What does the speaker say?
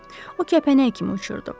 O kəpənək kimi uçurdu.